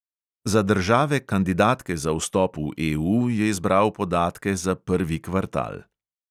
Za države kandidatke za vstop v EU je izbral podatke za prvi kvartal.